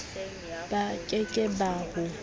ba ke ke ba ho